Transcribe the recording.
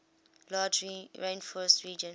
large rainforest region